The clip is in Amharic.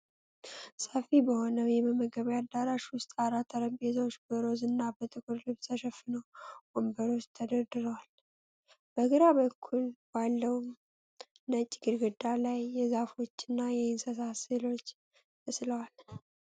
ሰፊ በሆነ የመመገቢያ አዳራሽ ውስጥ የራት ጠረጴዛዎች በሮዝ እና በጥቁር ልብስ ተሸፍነው ወንበሮች ተደርድረዋል። በግራ በኩል ባለው ነጭ ግድግዳ ላይ የዛፎችና የእንስሳት ሥዕሎች ተስለዋል። )